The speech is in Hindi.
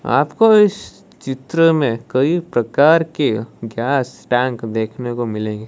आपको इस चित्र में कई प्रकार के गैस टैंक देखने को मिलेंगे।